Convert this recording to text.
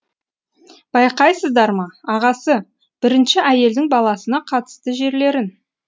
байқайсыздар ма ағасы бірінші әйелдің баласына қатысты жерлерін